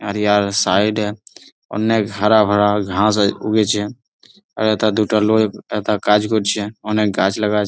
আর ইয়ার সাইড -এ অনেক হারা ভারা ঘাস আ- উগেছে । আহ একটা দুইটা লোক তা কাজ করছে। অনেক গাছ লাগা আছ--